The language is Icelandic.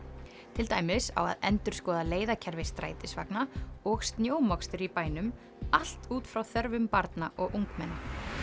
til dæmis á að endurskoða leiðakerfi strætisvagna og snjómokstur í bænum allt út frá þörfum barna og ungmenna